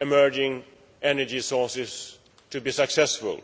emerging energy sources to be successful.